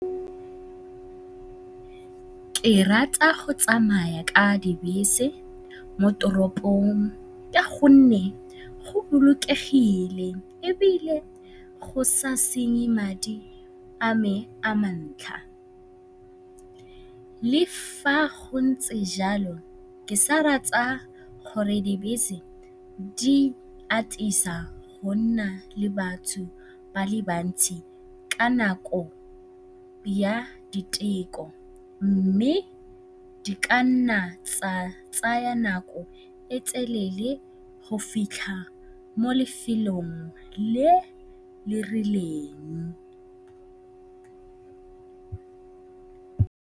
Ke rata go tsamaya ka dibese mo toropong ka gonne go bolokegile ebile go sa senye madi a me a mantlha. Le fa go ntse jalo, ke sa rata gore dibese di atisa go nna le batho ba le bantsi ka nako ya diteko mme di ka nna tsa tsaya nako e e telele go fitlha mo lefelong le le rileng.